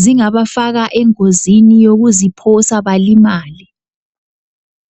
zingabafaka engozini yokuziphosa balimale.